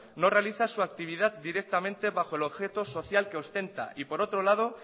no realiza su actividad directamente bajo el objeto social que ostenta y por otro lado